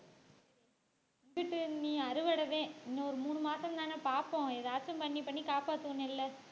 விட்டுட்டு அறுவடை தான் இன்னும் ஒரு மூணு மாசம்தானே பார்ப்போம் எதாச்சும் பண்ணி பண்ணி காப்பாத்தணும் நெல்ல